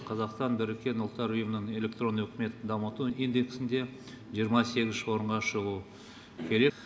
қазақстан біріккен ұлттар ұйымының электронды үкіметті дамыту индексінде жиырма сегізінші орынға шығу керек